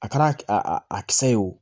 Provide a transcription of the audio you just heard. A kɛra a a kisɛ ye o